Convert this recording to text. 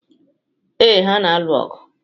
Ee, ha na-alụ ọgụ.